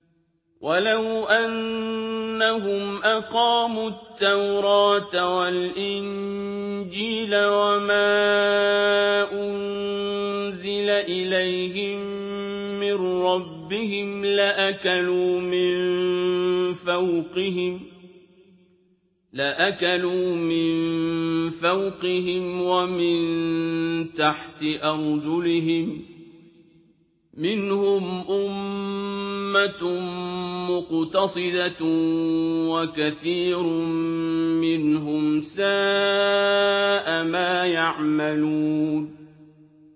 وَلَوْ أَنَّهُمْ أَقَامُوا التَّوْرَاةَ وَالْإِنجِيلَ وَمَا أُنزِلَ إِلَيْهِم مِّن رَّبِّهِمْ لَأَكَلُوا مِن فَوْقِهِمْ وَمِن تَحْتِ أَرْجُلِهِم ۚ مِّنْهُمْ أُمَّةٌ مُّقْتَصِدَةٌ ۖ وَكَثِيرٌ مِّنْهُمْ سَاءَ مَا يَعْمَلُونَ